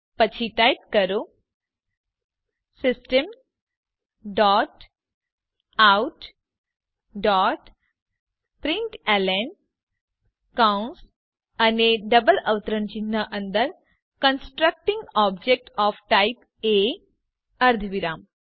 પછી ટાઇપ કરો system dot out dot println કૌંસ અને ડબલ અવતરણ ચિહ્ન અંદર constructing object of type A અર્ધવિરામ